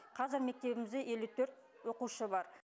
қазір мектебімізде елу төрт оқушы бар